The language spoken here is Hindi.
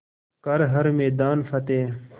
कर हर मैदान फ़तेह